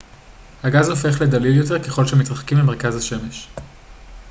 הגז הופך לדליל יותר ככל שמתרחקים ממרכז השמש